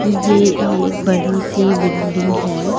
ये एक बड़ी सी बिल्डिंग है।